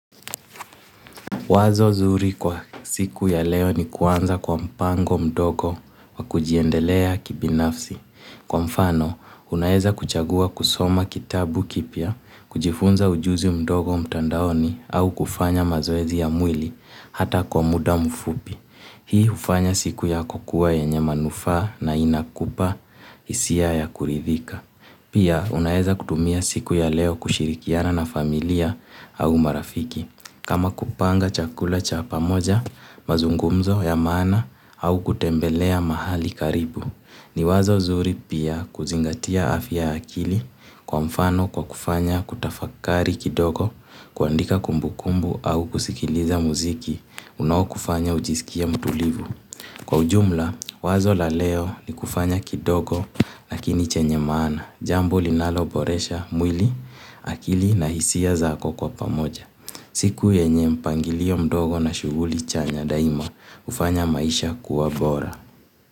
Wazo zuri kwa siku ya leo ni kuanza kwa mpango mdogo wa kujiendelea kibinafsi. Kwa mfano, unaeza kuchagua kusoma kitabu kipya, kujifunza ujuzi mdogo mtandaoni au kufanya mazoezi ya mwili hata kwa muda mfupi. Hii hufanya siku yako kuwa yenye manufaa na inakupa hisia ya kuridhika. Pia, unaeza kutumia siku ya leo kushirikiana na familia au marafiki. Kama kupanga chakula cha pamoja, mazungumzo ya maana au kutembelea mahali karibu. Ni wazo zuri pia kuzingatia afya ya akili kwa mfano kwa kufanya kutafakari kidogo, kuandika kumbukumbu au kusikiliza muziki, unao kufanya ujisikie mtulivu. Kwa ujumla, wazo la leo ni kufanya kidogo lakini chenye maana, jambo linalo boresha, mwili, akili na hisia zako kwa pamoja. Siku yenye mpangilio mdogo na shughuli chanya daima hufanya maisha kuwa bora.